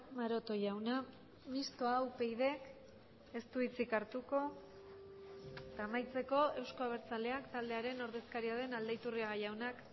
maroto jauna mistoa upyd ez du hitzik hartuko eta amaitzeko euzko abertzaleak taldearen ordezkaria den aldaiturriaga jaunak